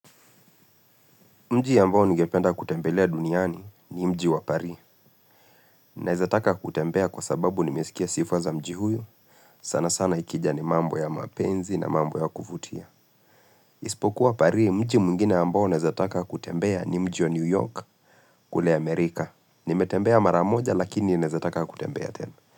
Mji ya ambao ni ngependa kutembelea duniani ni mji wa Pari. Nawezataka kutembea kwa sababu nimesikia sifa za mji huyu. Sana sana ikija ni mambo ya mapenzi na mambo ya kuvutia. Ispokuwa Pari mji mwingine ambao nawezataka kutembea ni mji wa New York kule Amerika. Nimetembea mara moja lakini nawezataka kutembea tena.